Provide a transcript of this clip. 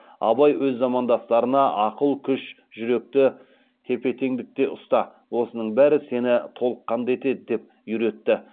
абай өз замандастарына ақыл күш жүректі тепе теңдікте ұста осының бәрі сені толыққанды етеді деп үйретті